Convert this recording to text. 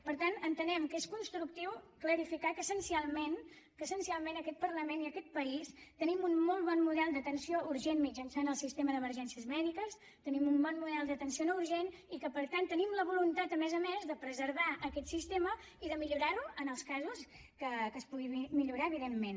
per tant entenem que és constructiu clarificar que essencialment aquest parlament i aquest país tenim un molt bon model d’atenció urgent mitjançant el sistema d’emergències mèdiques tenim un bon model d’atenció no urgent i que per tant tenim la voluntat a més a més de preservar aquest sistema i de millorar lo en els casos en què es pugui millorar evidentment